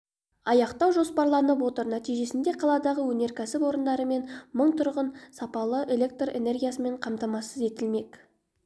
аяқтау жоспарланып отыр нәтижесінде қаладағы өнеркәсіп орындары мен мың тұрғын сапалы электр энергиясымен қамтамасыз етілмек